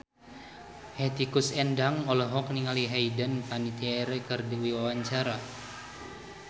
Hetty Koes Endang olohok ningali Hayden Panettiere keur diwawancara